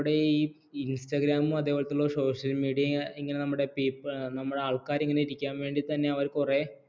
instagram അതേപോലെത്തെയുള്ള social media ഇങ്ങനെ ഇങ്ങനെ നമ്മുടെ നമ്മുടെ ആൾക്കാർ ഇങ്ങനെ ഇരിക്കാൻ വേണ്ടി തന്നെ അവർ കുറെ